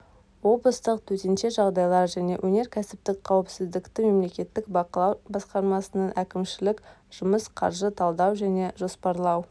облыстық төтенше жағдайлар және өнеркәсіптік қауіпсіздікті мемлекеттік бақылау басқармасының әкімшілік жұмыс қаржы талдау және жоспарлау